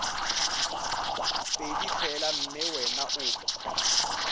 pedi fela mme wena o